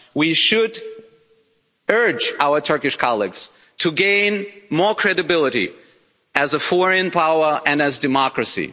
We should urge our Turkish colleagues to gain more credibility as a foreign power and as a democracy.